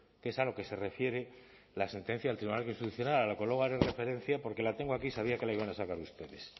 que es a lo que se refiere la sentencia del tribunal constitucional a la que luego haré referencia porque la tengo aquí y sabía que la iban a sacar ustedes